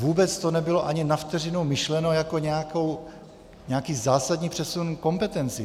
Vůbec to nebylo ani na vteřinu myšleno jako nějaký zásadní přesun kompetencí.